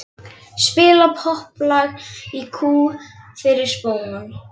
Spila popplag í kú fyrir spóann.